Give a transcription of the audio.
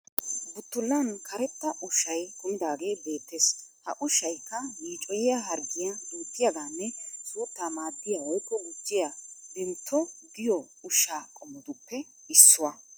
Buttullan karetta ushshay kumidaagee beettes. Ha ushshayikka yiicoyiya harqqiyaa duuttiyaggiyanne suutta maaddiya woyikko gujjiya " vimto" giyoo ushsha qommotuppe issuwa.